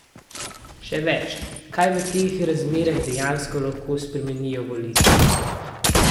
Še več, kaj v teh razmerah dejansko lahko spremenijo volitve?